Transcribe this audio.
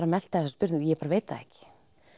að melta þessa spurningu ég bara veit það ekki